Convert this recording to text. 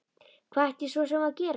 Hvað ætti ég svo sem að gera?